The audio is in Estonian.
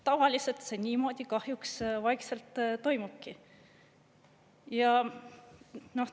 Tavaliselt see niimoodi kahjuks vaikselt toimubki.